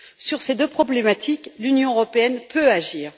Sur ces deux problématiques, l'Union européenne peut agir.